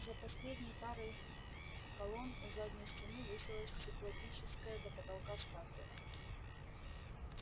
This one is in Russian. за последней парой колонн у задней стены высилась циклопическая до потолка статуя